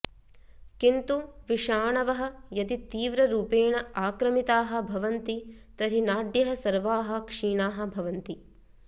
किन्तु विषाणवः यदि तीव्ररूपेण आक्रमिताः भवन्ति तर्हि नाड्यः सर्वाः क्षीणाः भवन्ति